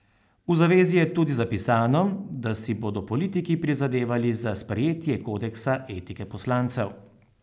V zavezi je tudi zapisano, da si bodo politiki prizadevali za sprejetje kodeksa etike poslancev.